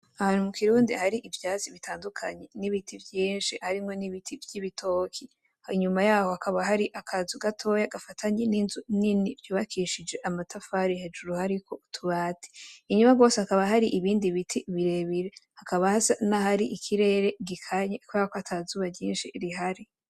Ahantu mu kirundi hari ivyatsi bitandukanye; n'ibiti vyinshi harimwo n'ibiti vy'ibitoki, inyuma yaho hakaba hari akazu gatoya gafatanye n'inzu nini vyubakishije amatafari hejuru hariko utubati, inyuma gose hakaba hari ibindi ibiti birebire, hakaba hasa na hari ikirere gikanye kubera ko ata zuba ryinshi rihari.